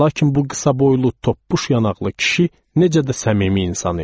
Lakin bu qısaboylu, toppuş yanaqlı kişi necə də səmimi insan idi.